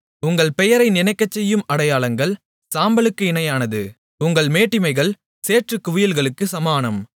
உங்கள் பெயரை நினைக்கச்செய்யும் அடையாளங்கள் சாம்பலுக்கு இணையானது உங்கள் மேட்டிமைகள் சேற்றுக்குவியல்களுக்குச் சமானம்